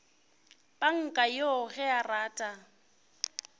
panka yoo ge a rata